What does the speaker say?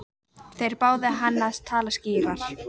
Þeir báðu hann að tala skýrar.